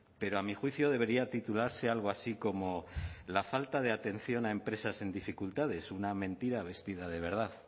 pero a mi juicio debería titularse algo así como la falta de atención a empresas en dificultades una mentira vestida de verdad